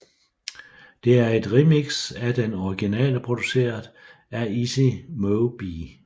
Det er et remix af den originale produceret af Easy Mo Bee